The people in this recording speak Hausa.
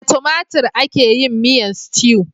Da tomatir ake yin miyan stew.